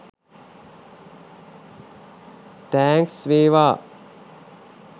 Thanks වේවා.